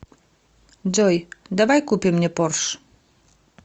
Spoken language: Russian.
джой давай купим мне порш